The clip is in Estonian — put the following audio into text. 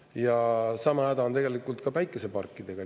Ja sama häda on tegelikult ka päikeseparkidega.